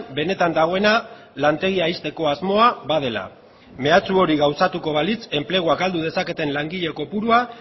benetan dagoena lantegia ixteko asmoa badela mehatxu hori gauzatuko balitz enplegua galdu dezaketen langile kopurua